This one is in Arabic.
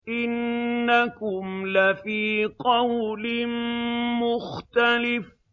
إِنَّكُمْ لَفِي قَوْلٍ مُّخْتَلِفٍ